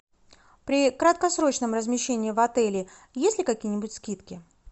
при краткосрочном размещении в отеле есть ли какие нибудь скидки